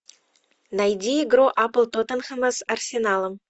найди игру апл тоттенхэма с арсеналом